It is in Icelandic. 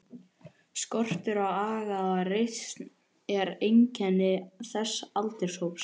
Skortur á aga og reisn er einkenni þessa aldurshóps.